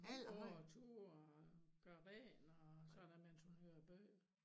Hun går tur og gør rent og sådan mens hun hører bøger